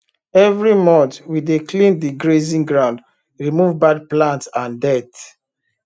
every month we dey clean the grazing ground remove bad plant and dirt